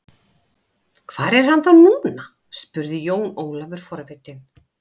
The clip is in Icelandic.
Hvar er hann þá núna spurði Jón Ólafur forvitinn.